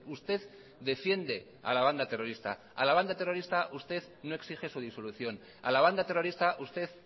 usted defiende a la banda terrorista a la banda terrorista usted no exige su disolución a la banda terrorista usted